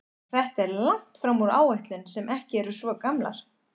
Og þetta er langt fram úr áætlunum sem ekki eru svo gamlar?